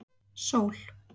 Sól